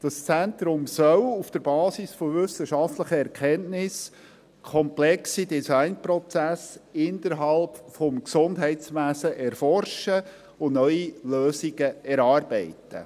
Das Zentrum soll auf der Basis von wissenschaftlichen Erkenntnissen komplexe Designprozesse innerhalb des Gesundheitswesens erforschen und neue Lösungen erarbeiten.